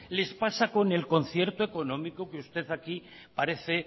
les pasa con el concierto económico que usted aquí parece